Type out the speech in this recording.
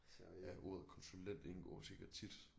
Ja ordet konsulent indgår sikkert tit